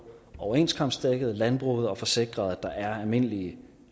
overenskomstdækket landbruget og at få sikret at der er almindelige